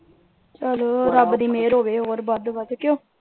ਚਲੋ ਰੱਬ ਦੀ ਮਿਹਰ ਹੋਵੇ ਹੋਰ ਵੱਧ -ਵੱਧ ਕਿਓਂ।